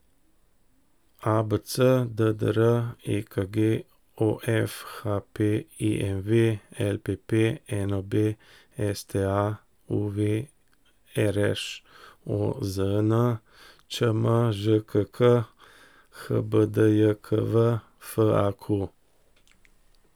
ABC, DDR, EKG, OF, HP, IMV, LPP, NOB, STA, UV, RŠ, OZN, ČM, ŽKK, HBDJKV, FAQ.